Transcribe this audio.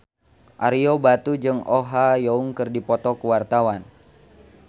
Ario Batu jeung Oh Ha Young keur dipoto ku wartawan